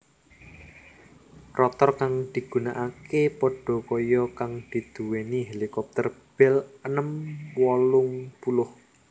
Rotor kang digunakake padakaya kang diduwéni helikopter Bell enem wolung puluh